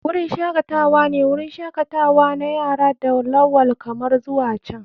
Wurin shakatawa ne wurin shakatawa na yara da lawal kamar zuwa can.